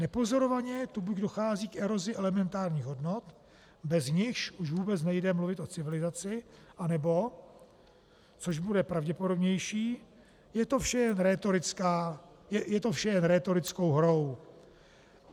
Nepozorovaně tu buď dochází k erozi elementárních hodnot, bez nichž už vůbec nejde mluvit o civilizaci, anebo - což bude pravděpodobnější - je to vše jen rétorickou hrou.